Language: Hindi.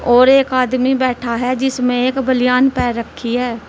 और एक आदमी बैठा है जिसमें एक बलियान पहन रखी है।